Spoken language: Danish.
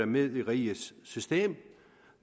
med i rigets system og